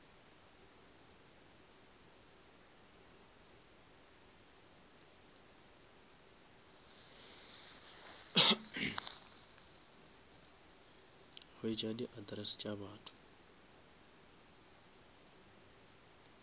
hwetša di address tša batho